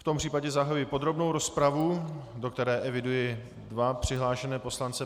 V tom případě zahajuji podrobnou rozpravu, do které eviduji dva přihlášené poslance.